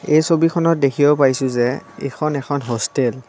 এই ছবিখনত দেখিব পাইছোঁ যে এইখন এখন হোষ্টেল ।